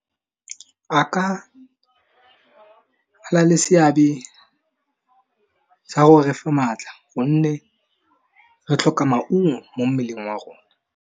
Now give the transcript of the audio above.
A ka, nna le seabe, sa go refa maatla gonne re tlhoka maungo mo mmeleng wa rona.